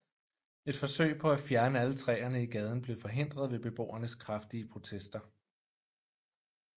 Et forsøg på at fjerne alle træerne i gaden blev forhindret ved beboernes kraftige protester